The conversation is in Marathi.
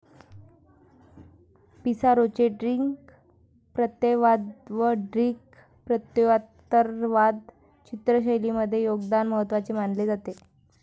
पिसारोचे ड्रिक प्रत्ययवाद व ड्रिक प्रत्ययोत्तरवाद चित्रशैलींमधले योगदान महत्वाचे मानले जाते.